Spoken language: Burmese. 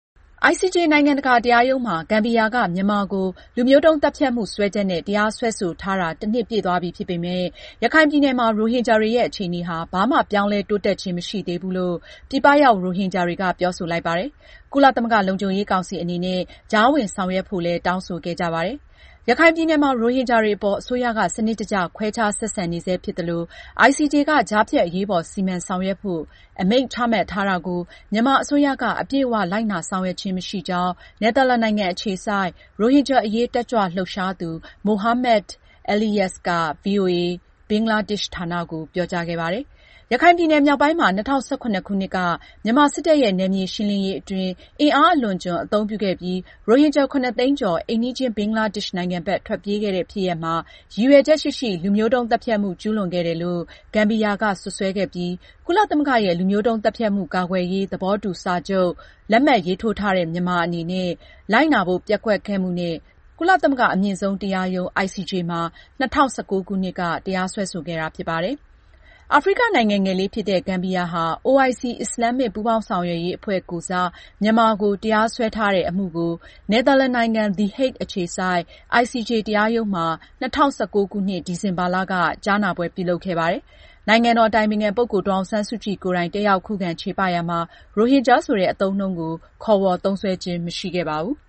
ICJ နိုင်ငံတကာတရားရုံးမှာ ဂမ်ဘီယာက မြန်မာကို လူမျိုးတုန်းသတ်ဖြတ်မှု စွဲချက်နဲ့ တရားစွဲဆိုထားတာ တနှစ်ပြည့်သွားပြီဖြစ်ပေမဲ့ ရခိုင်ပြည်နယ်မှာ ရိုဟင်ဂျာတွေရဲ့ အခြေအနေဟာ ဘာမှ ပြောင်းလဲတိုးတက်ခြင်းမရှိသေးဘူးလို့ ပြည်ပရောက် ရိုဟင်ဂျာတွေက ပြောဆိုလိုက်ပါတယ်။ ကုလသမဂ္ဂလုံခြုံရေးကောင်စီအနေနဲ့ ကြားဝင်ဆောင်ရွက်ဖို့လည်း တောင်းဆိုခဲ့ကြပါတယ်။ ရခိုင်ပြည်နယ်မှာ ရိုဟင်ဂျာတွေအပေါ် အစိုးရက စနစ်တကျ ခွဲခြားဆက်ဆံနေဆဲဖြစ်သလို၊ ICJ က ကြားဖြတ်အရေးပေါ် စီမံဆောင်ရွက်ဖို့ အမိန့်ချမှတ်ထားတာကို မြန်မာအစိုးရက အပြည့်အ၀ လိုက်နာ ဆောင်ရွက်ခြင်းမရှိကြောင်း နယ်သာလန်နိုင်ငံအခြေစိုက် ရိုဟင်ဂျာအရေးတက်ကြွလှုပ်ရှားသူ Mohammed Eleyas က ဗွီအိုအေ ဘင်္ဂလားဒေ့ရှ်ဌာနကို ပြောကြားခဲ့ပါတယ်။ ရခိုင်ပြည်နယ် မြောက်ပိုင်းမှာ ၂၀၁၇ခုနှစ်က မြန်မာစစ်တပ်ရဲ့ နယ်မြေရှင်းလင်းရေးအတွင်း အင်အားအလွန်အကျွံ အသုံးပြုခဲ့ပြီး ရိုဟင်ဂျာ ၇ သိန်းကျော် အိမ်နီးချင်း ဘင်္ဂလားဒေ့ရှ်နိုင်ငံဘက် ထွက်ပြေးခဲ့ရတဲ့ ဖြစ်ရပ်မှာ ရည်ရွယ်ချက်ရှိရှိ လူမျိုးတုန်းသတ်ဖြတ်မှုကျူးလွန်ခဲ့တယ်လို့ ဂမ်ဘီယာက စွပ်စွဲခဲ့ပြီး ကုလသမဂ္ဂရဲ့ လူမျိုးုတုန်းသတ်ဖြတ်မှု ကာကွယ်ရေး သဘောတူစာချုပ်လက်မှတ်ရေးထိုးထားတဲ့ မြန်မာအနေနဲ့ လိုက်နာဖို့ ပျက်ကွက်ခဲ့မှုနဲ့ ကုလသမဂ္ဂအမြင့်ဆုံးတရားရုံး ICJ မှာ ၂၀၁၉ ခုနှစ်က တရားစွဲခဲ့တာဖြစ်ပါတယ်။ အာဖရိကနိုင်ငံငယ်လေးဖြစ်တဲ့ ဂမ်ဘီယာဟာ OIC အစ္စလာမ်မစ် ပူးပေါင်းဆောင်ရွက်ရေးအဖွဲ့ကိုယ်စား မြန်မာကို တရားစွဲထားတဲ့အမှုကို နယ်သာလန်နိုင်ငံ the Hague အခြေစိုက် ICJ တရားရုံးမှာ ၂၀၁၉ခုနှစ် ဒီဇင်ဘာလ ၁၀-၁၂ရက်နေ့ထိ ကြားနာပွဲပြုလုပ်ခဲ့ပါတယ်။ နိုင်ငံတော်အတိုင်ပင်ခံပုဂ္ဂိုလ်ဒေါ်အောင်ဆန်းစုကြည်ကိုယ်တိုင် တက်ရောက်ခုခံချေပရာမှာ ရိုဟင်ဂျာဆိုတဲ့ အသုံးအနှုန်းကို ခေါ်ဝေါ်သုံးစွဲခြင်းမရှိခဲ့ပါဘူး။